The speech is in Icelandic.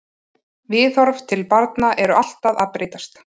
Viðhorf til barna eru alltaf að breytast.